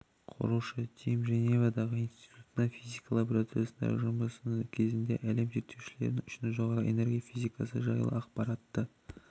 құрушы тим женевадағы институтта физика лабороториясындағы жұмысы кезінде әлем зерттеулершілері үшін жоғары энергия физикасы жайлы ақпаратты